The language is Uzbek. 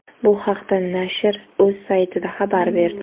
Bu haqda nashr o‘z saytida xabar berdi.